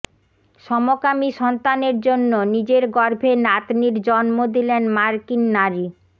সমকামী সন্তানের জন্য নিজের গর্ভে নাতনির জন্ম দিলেন মার্কিন নারী